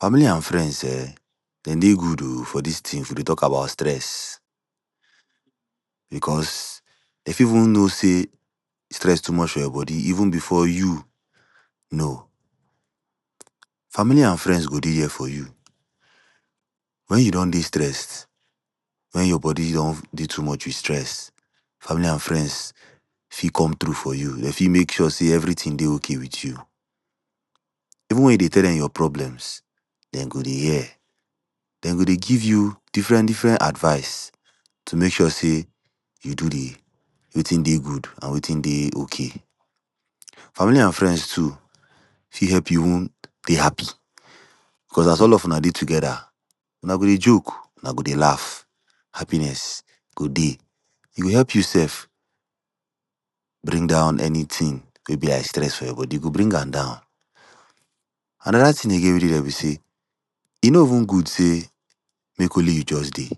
Family and friends um dem dey good oh, for dis thing if we dey talk about stress because dem fit even know sey stress too much for your body even before you know Family and friends go there for you. Wen you don dey stressed, wen your body don dey too much with stress, Family and friends fit come through for you, dem fit make sure sey every thing dey okay with you, even wen you dey tell dem your problems dem go dey hear dem go dey give you different different advice to make sure sey you do di wetin dey good and wetin dey okay. Family and friends too fit help you even dey happy, because as all of una dey together, una go dey joke, una go dey laugh. Happiness go dey, e go help you sef, bring down any thing wey be like stress for your body, e go bring am down. Another thing again wen dey there be sey, e no even good sey make only you just dey.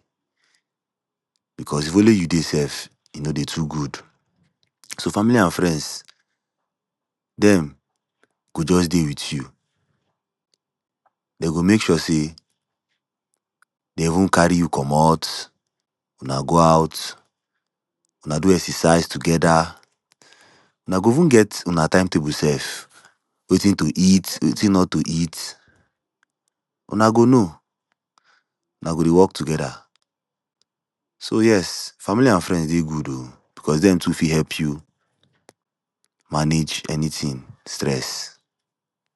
Because if only you dey sef e no dey too good, so Family and friends dem go just dey with you. Dem go make sure sey dem even carry you komot, una go out, una do exercise together, una go even get una time table sef, wetin to eat wetin not to eat, una go know. Una go dey work together so yes Family and friends dey good oh, because dem too go fit help you manage anything stress.